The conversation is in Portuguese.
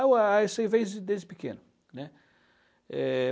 Ah, isso eu vejo desde pequeno, né? Eh...